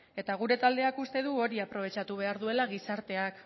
eta gure taldeak uste du hori aprobetxatu behar duela gizarteak